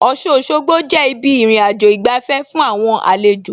Ọ̀ṣun Òṣogbo jẹ́ ibi ìrìnàjò ìgbafẹ́ fún àwọn àlejò